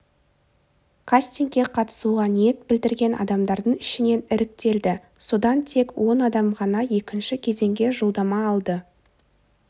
кастингке қатысуға ниет білдірген адамдардың ішінен іріктелді содан тек он адам ғана екінші кезеңге жолдама алды